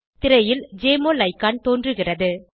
திரையில் JMOL icon தோன்றுகிறது